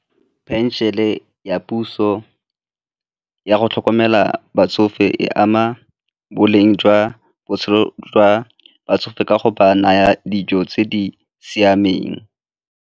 Pension-e ya puso ya go tlhokomela batsofe e ama boleng jwa botshelo jwa batsofe ka go ba naya dijo tse di siameng.